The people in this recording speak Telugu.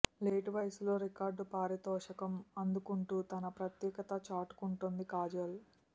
లేటు వయసులో రికార్డు పారితోషకం అందుకుంటూ తన ప్రత్యేకత చాటుకుంటోంది కాజల్